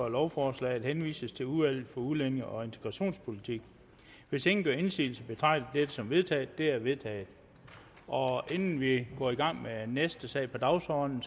at lovforslaget henvises til udvalget udlændinge og integrationspolitik hvis ingen gør indsigelse betragter jeg dette som vedtaget det er vedtaget inden vi går i gang med næste sag på dagsordenen